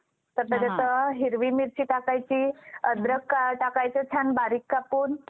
तर त्याच्यात हिरवी मिरची टाकायची. अद्रक टाकायचं छान बारीक कापून.